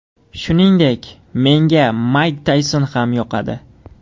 Shuningdek, menga Mayk Tayson ham yoqadi.